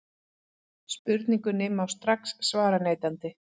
Spurningunni má strax svara neitandi.